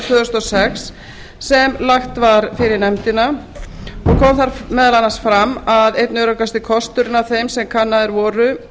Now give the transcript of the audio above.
tvö þúsund og sex sem lagt var fyrir nefndina kom meðal annars fram að einn öruggasti kosturinn af þeim sem kannaðir voru